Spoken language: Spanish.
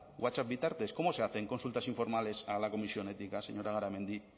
whatsapp bitartez cómo se hacen consultas informales a la comisión ética señora garamendi